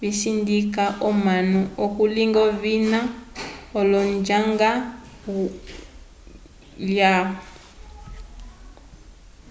visindika omanu okulinga ovina l'onjanga yalwa